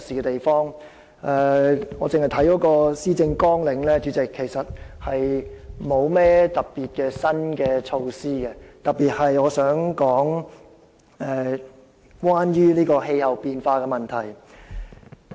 單從施政綱領所見，特首其實沒有提出甚麼特別的新措施，尤其是在我想談論的氣候變化問題方面。